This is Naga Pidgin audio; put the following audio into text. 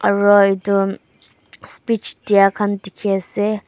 aro edu speach diakhan dikhiase.